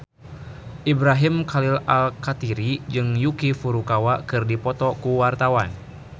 Ibrahim Khalil Alkatiri jeung Yuki Furukawa keur dipoto ku wartawan